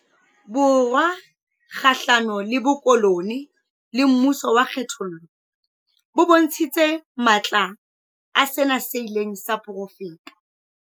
Borwa kgahlano le bokolo neale le mmuso wa kgethollo bo bontshitse matla a sena seileng sa porofetwa.